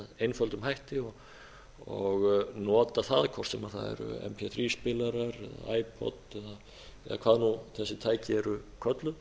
einföldum hætti og nota það hvort sem það eru þríspilarar ipod eða hvað þessi tæki eru kölluð